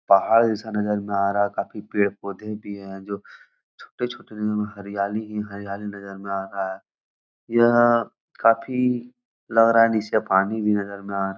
पहाड़ जैसा नज़र में आ रहा है काफी पेड़-पौधे भी हैं जो छोटे-छोटे हरयाली ही हरयाली नजर में आ रहा है यह काफी लग रहा नीचे पानी भी नजर में आ रहा है।